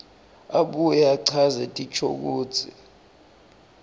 abuye achaze tinshokutsi